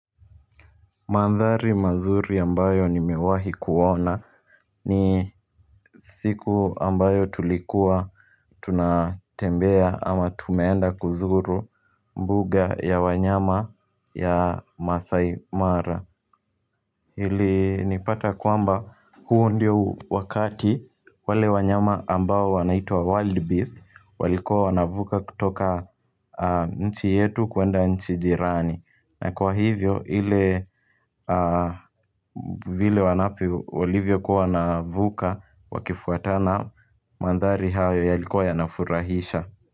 Mandhari mazuri ambayo nimewahi kuona ni siku ambayo tulikuwa tunatembea ama tumeenda kuzuru mbuga ya wanyama ya masai mara Hili nipata kwamba huu ndiyo wakati wale wanyama ambayo wanaitwa wild beast walikuwa wanavuka kutoka nchi yetu kuenda nchi jirani na kwa hivyo hile vile wanavyo walilivyo kua wanavuka wakifuatana mandhari hayo yalikua yanafurahisha.